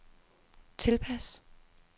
tilpas